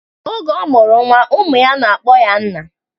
Oge ọ mụrụ nwa, ụmụ ya na-akpọ ya nna